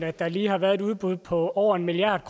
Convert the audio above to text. at der lige har været et udbud på over en milliard